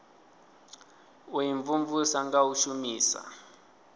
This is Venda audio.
u imvumvusa nga u shumisa